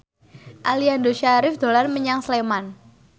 Aliando Syarif dolan menyang Sleman